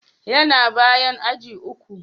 Yana bayan aji uku.